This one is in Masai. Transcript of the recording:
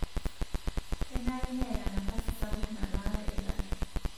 Kenare neata nafasi sapuk nalaare ilasho.